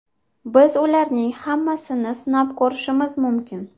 Biz ularning hammasini sinab ko‘rishimiz mumkin.